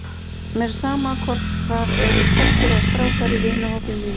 Mér er sama hvort það eru stelpur eða strákar í vinahópi mínum.